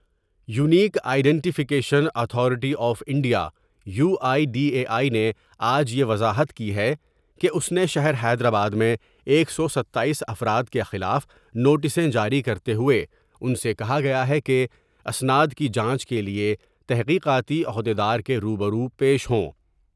Unique identification authority of India U I D A I نے آج یہ وضاحت کی ہے کہ اس نے شہر حیدرآباد میں ایک سو ستاییس افراد کے خلاف نوٹسیں جاری کرتے ہوۓ ان سے کہا گیا ہے کہ اسناد کی جانچ کے لیے تحقیقاتی عہد یدار کے روبرو پیش ہوں ۔